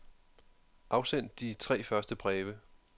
Afsend de tre første breve.